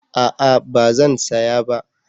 A'a ba zan saya ba